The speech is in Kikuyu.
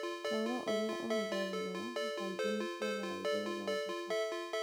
Taurũ iria ihũthagĩrũo kaingĩ nĩ cia tharaithĩ gũthondeka.